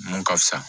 Mun ka fisa